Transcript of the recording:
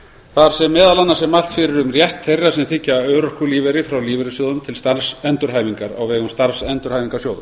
þar sem meðal annars er mælt fyrir um rétt þeirra sem þiggja örorkulífeyri frá lífeyrissjóðum til starfsendurhæfingar á vegum starfsendurhæfingarsjóða